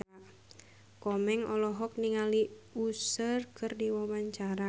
Komeng olohok ningali Usher keur diwawancara